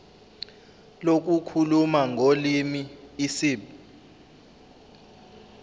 lokukhuluma ngolimi isib